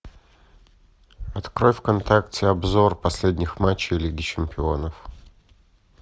открой вконтакте обзор последних матчей лиги чемпионов